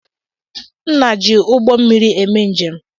Nna jị ụgbọ mmiri eme njem.